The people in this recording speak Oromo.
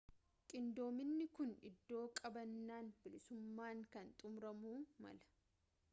qindoominni kun iddoo qabannaan bilisummaan kun xumuramuu mala